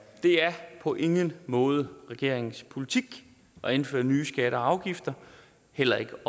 på ingen måde regeringens politik at indføre nye skatter og afgifter heller ikke